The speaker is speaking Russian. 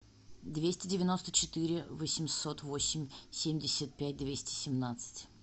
двести девяносто четыре восемьсот восемь семьдесят пять двести семнадцать